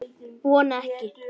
Vona ekki.